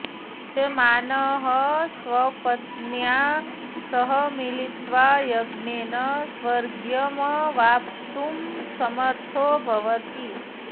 यजमानः स्वपत्न्या सह मिलित्वा यज्ञेन स्वर्ग्यमवाप्तुं समर्थो भवति